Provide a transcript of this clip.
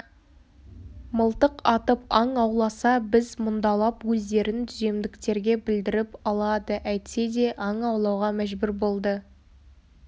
мылтық атып аң ауласа біз мұндалап өздерін түземдіктерге білдіріп алады әйтсе де аң аулауға мәжбүр болды